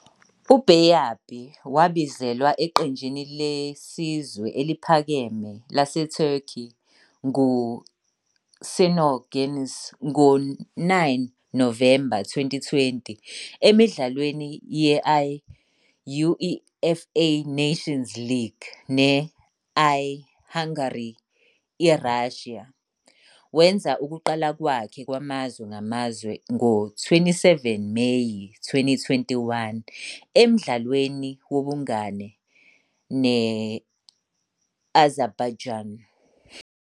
U-Bayдыр wabizelwa eqenjini lesizwe eliphakeme laseTurkey ngu-I-Şenol Güneş ngo-9 November 2020, emidlalweni ye-I-UEFA Nations League ne-I-Hungary IRussia. Wenza ukuqala kwakhe kwamazwe ngamazwe ngo-27 Meyi 2021, emdlalweni wobungane ne-I-Azerbaijan.